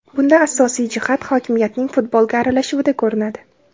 Bunda asosiy jihat hokimiyatning futbolga aralashuvida ko‘rinadi.